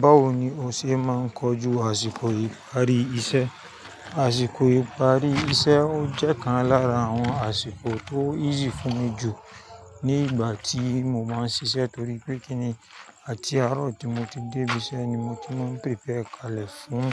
Báwo ni o ṣe máa ń kojú àsìkò ìparí iṣẹ́? Àsìkò ìparí iṣẹ́ jẹ́ ọ̀kan lára àwọn àsìkò tó ìjì fún mi jù ní ìgbà tí mo máa ń ṣiṣẹ́ torí pé kíni àti àárọ̀ tí mo ti débí iṣẹ́ ni mo ti máa ń prefer kalẹ̀ fún